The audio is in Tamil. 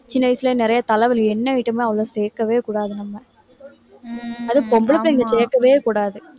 சின்ன வயசில நிறைய தலைவலி, எண்ணெய் item லாம் அவ்வளவா சேர்க்கவே கூடாது, நம்ம. அதுவும், பொம்பளை பிள்ளைங்க கேட்கவே கூடாது